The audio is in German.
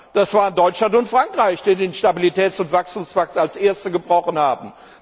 Es waren Deutschland und Frankreich, die den Stabilitäts und Wachstumspakt als erste gebrochen haben.